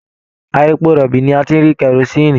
Ara èpò rọbí ní a tí n rí kerosinni.